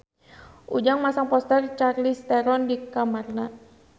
Ujang masang poster Charlize Theron di kamarna